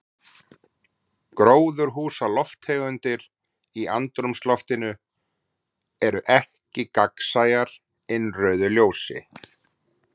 Gróðurhúsalofttegundir í andrúmsloftinu eru ekki gagnsæjar innrauðu ljósi.